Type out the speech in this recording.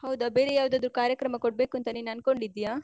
ಹೌದ, ಬೇರೆ ಯಾವ್ದಾದ್ರು ಕಾರ್ಯಕ್ರಮ ಕೊಡ್ಬೇಕು ಅಂತ ನೀನ್ ಅನ್ಕೊಂಡಿದ್ದೀಯಾ?